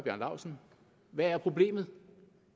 laustsen hvad er problemet